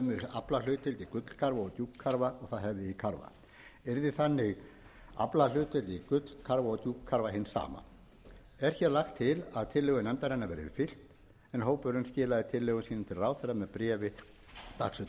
aflahlutdeild í gullkarfa og djúpkarfa og það hefði í karfa yrði þannig aflahlutdeild í gullkarfa og djúpkarfa hin sama er hér lagt til að tillögu nefndarinnar verði fylgt en hópurinn skilaði tillögum sínum til ráðherra með bréfi dagsettu